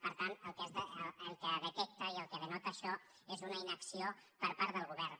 per tant el que detecta i el que denota això és una inacció per part del govern